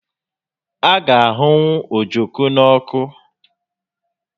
A ga ahụnwụ ojoko n'ọkụ